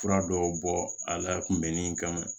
Fura dɔw bɔ a la kunbɛnni kama